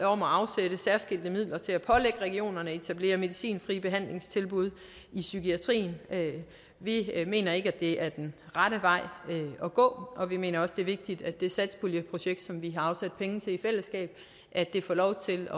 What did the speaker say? om at afsætte særskilte midler til at pålægge regionerne at etablere medicinfrie behandlingstilbud i psykiatrien vi mener ikke at det er den rette vej at gå og vi mener også at det er vigtigt at det satspuljeprojekt som vi har afsat penge til i fællesskab får lov til